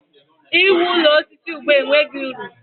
I wu ụlọ osisi ugbua enweghị uru.